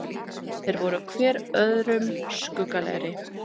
Þeir voru hver öðrum skuggalegri.